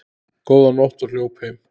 Góða nótt og hljóp heim.